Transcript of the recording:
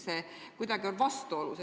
See kuidagi on vastuolus.